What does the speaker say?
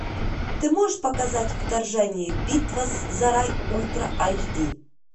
ты можешь показать вторжение битва за рай ультра айч ди